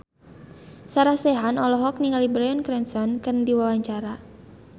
Sarah Sechan olohok ningali Bryan Cranston keur diwawancara